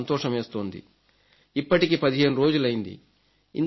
నాకు సంతోషమేస్తుంది ఇప్పటికి 15 రోజులైంది